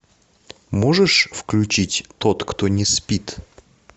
можешь включить тот кто не спит